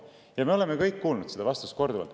" Me kõik oleme kuulnud neid vastuseid.